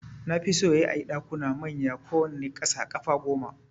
Nafi so yayi ayi Ɗakuna manya kowanne kasa ƙafa gome